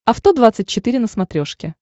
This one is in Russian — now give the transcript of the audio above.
авто двадцать четыре на смотрешке